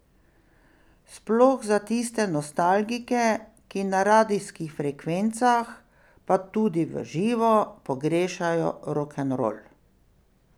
Sploh za tiste nostalgike, ki na radijskih frekvencah, pa tudi v živo, pogrešajo rokenrol.